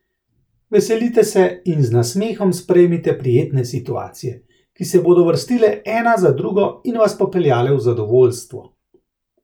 Veselite se in z nasmehom sprejmite prijetne situacije, ki se bodo vrstile ena za drugo in vas popeljale v zadovoljstvo.